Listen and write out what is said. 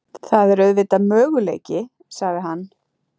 Það er auðvitað möguleiki sagði hann.